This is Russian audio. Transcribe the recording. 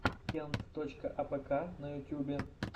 кент точка апэка на ютубе